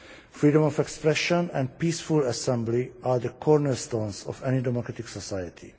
Freedom of expression and peaceful assembly are the cornerstones of any democratic society.